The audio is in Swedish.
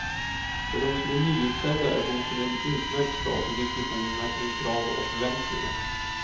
För dem som är nyutsedda är boken en utmärkt start i diskussionerna kring krav och förväntningar.